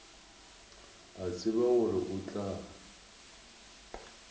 a tseba gore o tla